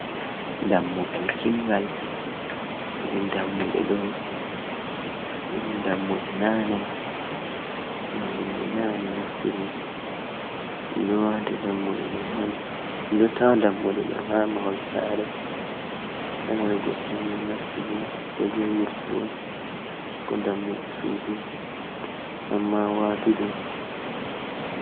Dammugal kingal, iri dammuɗe ɗo, iri dammuɗe nane je himbe nane naftiri, ɗum ɗo tawa dammuɗe ɗo hamahol sare, sare goɗɗoni nastugo, koje wurtugo ko dammuɗe sudu amma watuɗe.